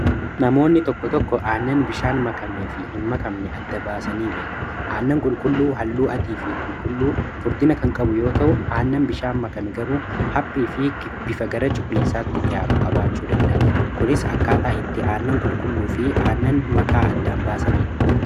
namoonni tokko tokko aannan bishaan makame fi hin makamne adda baasanii beeku aannan qulqulluu halluu adii fi qulqulluu furdina kan qabu yoo ta'u aannan bishaan makame garuu haphii fi bifa gara cuquliisaatti dhihaatu qabaachuu danda'a kunis akkaataa itti aannan qulqulluu fi aannan makaa addaan baasaniidha